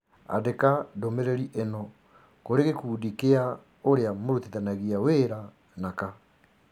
Andĩka ndũmĩrĩri ĩno kũrĩ gĩkundi kĩa ũrĩa mũrutithanagia wĩra naka